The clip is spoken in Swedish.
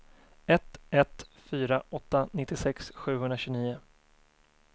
ett ett fyra åtta nittiosex sjuhundratjugonio